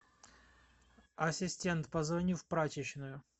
ассистент позвони в прачечную